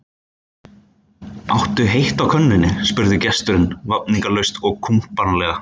Áttu heitt á könnunni? spurði gesturinn vafningalaust og kumpánlega.